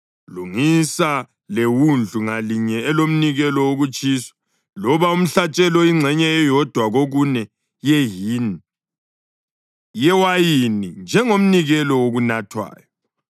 Lungisa lewundlu ngalinye elomnikelo wokutshiswa loba umhlatshelo ingxenye eyodwa kokune yehini yewayini njengomnikelo wokunathwayo.